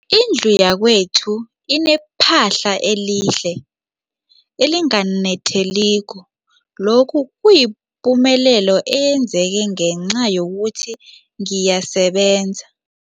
Indlu yakwethu inephahla elihle, elinganetheliko, lokhu kuyipumelelo eyenzeke ngenca yokuthi ngiyasebenza.